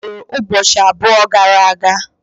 Ọ mụrụ ụbọchị abụọ gara aga.